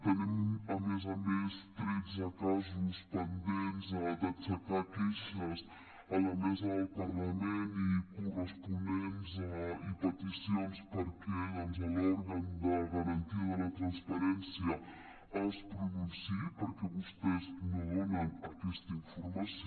tenim a més a més tretze casos pendents d’aixecar queixes a la mesa del parlament i peticions perquè doncs l’òrgan de garantia de la transparència es pronunciï perquè vostès no donen aquesta informació